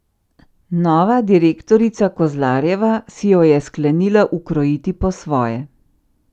Nova direktorica Kozlarjeva si jo je sklenila ukrojiti po svoje.